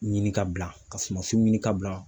Ɲini ka bila, ka sumansiw ɲini ka bila.